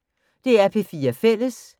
DR P4 Fælles